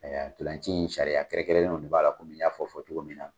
Ayiwa ntolan ci in sariya kɛrɛnkɛrɛnnenw de b'a la komin n y'a fɔ fɔcogo min na.